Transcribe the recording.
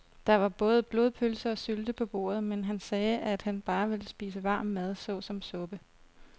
Der var både blodpølse og sylte på bordet, men han sagde, at han bare ville spise varm mad såsom suppe.